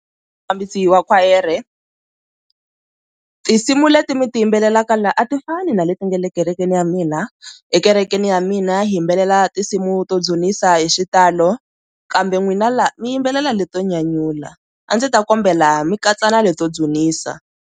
Mufambisi wa khwayere tinsimu leti mi ti yimbelelaka la a ti fani na leti nga le kerekeni ya mina, ekerekeni ya mina hi yimbelela tinsimu to dzunisa hi xitalo kambe n'wina laha mi yimbelela leto nyanyula a ndzi ta kombela mi katsana leto dzunisa.